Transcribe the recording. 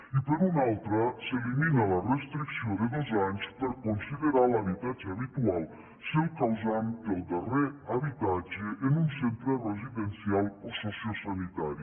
i per una altra s’elimina la restricció de dos anys per considerar l’habitatge habitual si el causant té el darrer habitatge en un centre residencial o sociosanitari